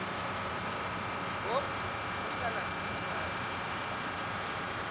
ngomntu ohlala nomntwana